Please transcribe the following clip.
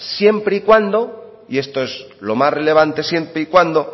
siempre y cuando y esto es lo más relevante siempre y cuando